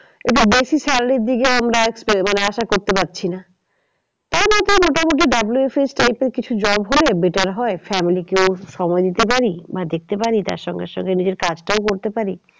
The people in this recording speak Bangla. এবার বেশি salary র দিকে আমরা মানে আশা করতে পারছি না। কারণ এতে মোটামুটি WFH type এর কিছু job হলে better হয় family কেও সময় দিতে পারি। মানে দেখতে পারি তার সঙ্গে সঙ্গে নিজের কাজটাও করে পারি